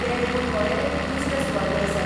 ते गूण वळेरेंत दुसरे सुवातेर आसात.